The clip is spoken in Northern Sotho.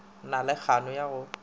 na le kgano ya go